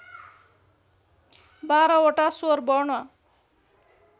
१२ वटा स्वरवर्ण